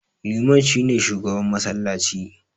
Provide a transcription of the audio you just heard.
Liman shi ne shugaban massalaci.